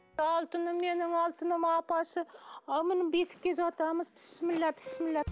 алтыным менім алтыным апасы а міне бесікке жатамыз бісміллә бісміллә